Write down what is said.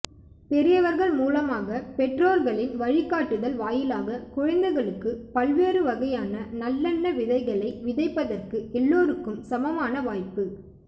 பெரியவர்கள் மூலமாக பெற்றோர்களின் வழிக்காட்டுதல் வாயிலாக குழந்தைகளுக்கு பல் வேறு வகையான நல்லெண்ண விதைகளை விதைப்பதற்கு எல்லோருக்கும் சமமான வாய்ப்பு